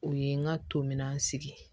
O ye n ka to minan sigi